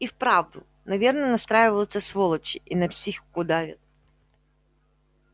и вправду наверное настраиваются сволочи и на психику давят